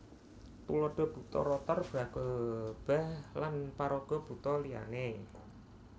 Tuladha Buta Rotor Bragolba lan paraga buta liyané